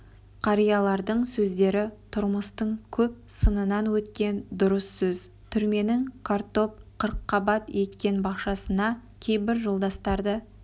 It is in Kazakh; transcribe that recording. қариялардың сөздері тұрмыстың көп сынынан өткен дұрыс сөз түрменің картоп қырыққабат еккен бақшасына кейбір жолдастарды